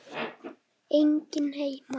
Enginn heima!